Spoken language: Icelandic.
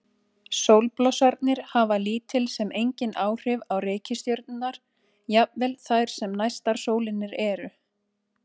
Sólblossarnir hafa lítil sem engin áhrif á reikistjörnurnar, jafnvel þær sem næstar sólinni eru.